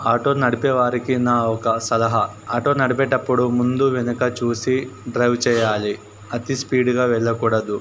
Auto నడిపే వారికి నా ఒక సలహా ఆటో నడిపేటప్పుడు ముందు వెనుక చూసి డ్రైవ్ చేయాలి అతి స్పీడ్ గా వెళ్ళకూడదు.